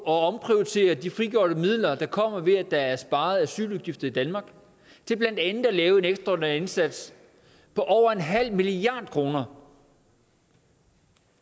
at omprioritere de frigjorte midler der kommer ved at der er sparet asyludgifter i danmark til blandt andet at lave en ekstraordinær indsats på over en halv milliard kroner